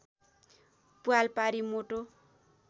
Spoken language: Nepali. प्वाल पारी मोटो